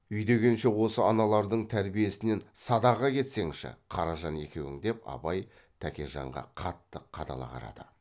үйдегенше осы аналардың тәрбиесінен садаға кетсеңші қаражан екеуің деп абай тәкежанға қатты қадала қарады